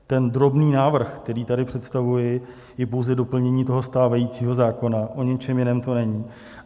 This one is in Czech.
Ten drobný návrh, který tady představuji, je pouze doplnění toho stávajícího zákona, o ničem jiném to není.